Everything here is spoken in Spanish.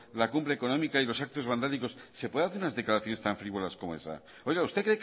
la cumbre económica y los actos vandálicos se puede hacer unas declaraciones tan frívolas como esa oiga usted